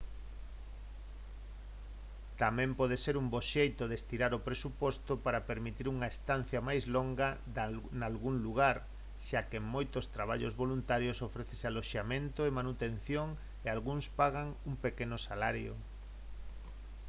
tamén pode ser un bo xeito de estirar o presuposto para permitir unha estancia máis longa nalgún lugar xa que en moitos traballos voluntarios ofrécese aloxamento e manutención e algúns pagan un pequeno salario